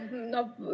Aitäh!